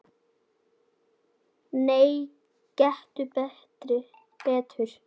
Nei, gettu betur